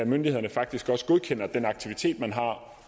myndighederne faktisk også godkender den aktivitet man har og